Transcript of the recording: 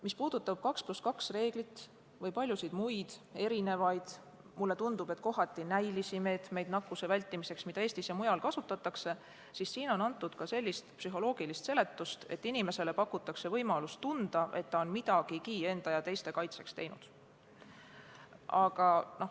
Mis puudutab 2 + 2 reeglit ja paljusid muid erisuguseid – mulle tundub, et kohati vaid näiliselt toimivaid – nakkuse vältimise meetmeid, mida Eestis ja mujal kasutatakse, siis nende kohta on antud ka selline psühholoogiline seletus, et inimesele pakutakse võimalust tunda, et ta on midagigi enda ja teiste kaitseks teinud.